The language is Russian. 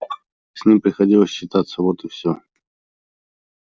с ним приходилось считаться вот и все